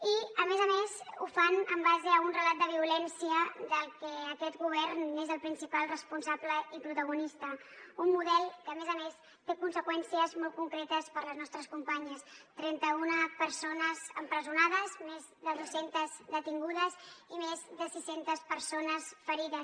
i a més a més ho fan en base a un relat de violència del qual aquest govern és el principal responsable i protagonista un model que a més a més té conseqüències molt concretes per a les nostres companyes trenta una persones empresonades més de dos centes detingudes i més de sis centes persones ferides